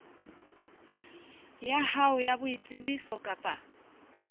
ya hao ya boitsebiso kapa